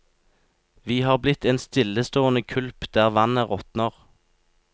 Vi har blitt en stillestående kulp der vannet råtner.